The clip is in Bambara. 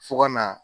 Fo ka na